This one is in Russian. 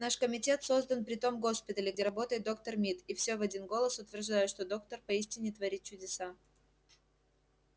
наш комитет создан при том госпитале где работает доктор мид и все в один голос утверждают что доктор поистине творит чудеса